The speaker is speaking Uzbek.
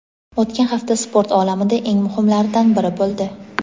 O‘tgan hafta sport olamida eng muhimlaridan biri bo‘ldi.